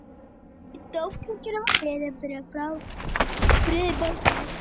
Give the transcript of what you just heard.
Í Dómkirkjunni var beðið fyrir friði í morgunmessunni.